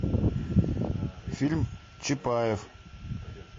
фильм чапаев